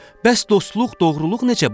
Bəs dostluq, doğruluq necə, baba?